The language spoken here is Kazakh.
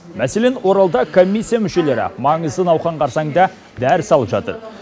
мәселен оралда комиссия мүшелері маңызды науқан қарсаңында дәріс алып жатыр